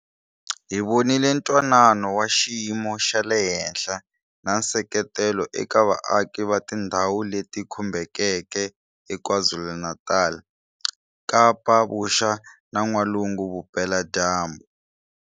Hi vonile twanano wa xiyimo xa le henhla na nseketelo eka vaaki va tindhawu leti khumbekeke eKwaZulu-Natal, Kapa Vuxa na N'walungu Vupeladyambu.